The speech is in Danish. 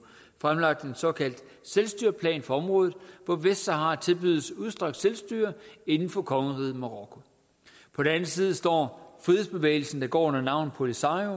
en såkaldt selvstyreplan for området hvor vestsahara tilbydes udbredt selvstyre inden for kongeriget marokko på den anden side står frihedsbevægelsen under navnet polisario